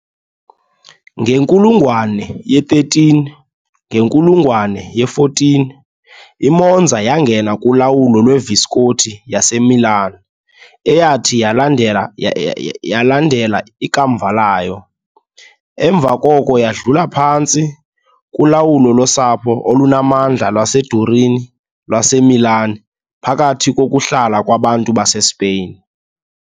ngenkulungwane ye-13, ngenkulungwane ye-14 iMonza yangena kulawulo lweVisconti yaseMilan, eyathi yalandela ikamva layo, emva koko yadlula phantsi kolawulo losapho olunamandla lwaseDurini lwaseMilan phakathi kokuhlala kwabantu baseSpain .